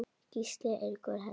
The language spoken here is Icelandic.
Gísli Eiríkur Helgi.